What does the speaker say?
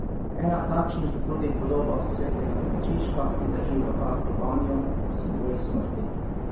Ena takšnih je tudi podoba Svetega Frančiška, ki drži v rokah lobanjo, simbol smrti.